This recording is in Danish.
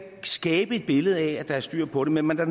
skabe et billede af at der er styr på det men man er